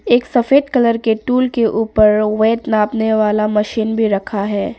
एक सफेद कलर के टूल के ऊपर वेट नापने वाला मशीन भी रखा है।